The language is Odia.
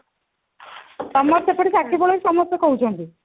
ସମସ୍ତେ ଏପଟେ ସାକ୍ଷୀଗୋପାଳରେ ସମସ୍ତେ କହୁଛନ୍ତି